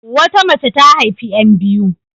Wata mace ta haifi 'yan biyu.